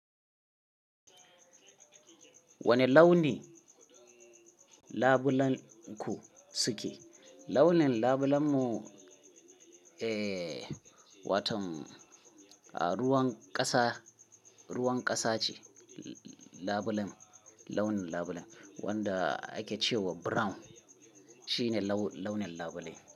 Wane launi labulenku suke? Launin labulenmu, eh, watan, a ruwan ƙasa, ruwan ƙasa ce labulen, launin labulen, wanda ake ce wa brown shine laun-launin labule.